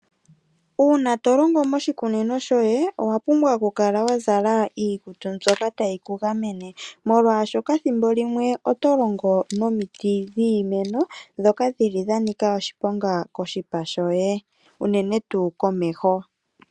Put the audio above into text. Uuna tolongo moshikunino shoye owa pumbwa okukala wazala iikutu mbyoka tayi ku gamene, molwaashoka thimbo limwe oto longo nomiti dhiimeno, ndhoka dhili dhanika oshiponga koshipa shoye, unene tuu komeho.